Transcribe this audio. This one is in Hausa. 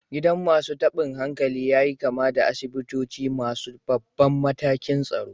Gidan masu tabin hankali ya yi kama da asibitoci masu babban matakin tsaro.